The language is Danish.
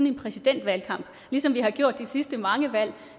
en præsidentvalgkamp ligesom vi har gjort de sidste mange valg